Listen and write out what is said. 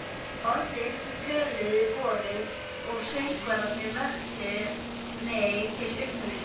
Orðin, sem töluð voru, og söngvarnir, vöktu mig til umhugsunar.